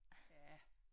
Ja